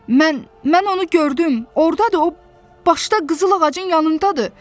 Mən, mən onu gördüm, ordadır, o başda qızıl ağacın yanındadır!